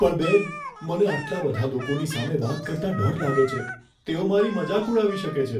પણ બેન, મને આટલા બધા લોકોની સામે વાત કરતાં ડર લાગે છે. તેઓ મારી મજાક ઉડાવી શકે છે.